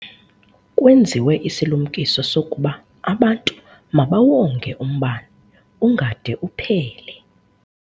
Kwenziwe isilumkiso sokuba abantu mabawonge umbane ungade uphele.